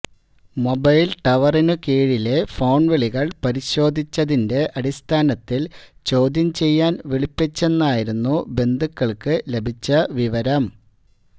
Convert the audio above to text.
mobile ടവറിനു കീഴിലെ phone വിളികൾ പരിശോധിച്ചതിന്റെ അടിസ്ഥാനത്തിൽ ചോദ്യം ചെയ്യാൻ വിളിപ്പിച്ചെന്നായിരുന്നു ബന്ധുക്കൾക്കു ലഭിച്ച വിവരം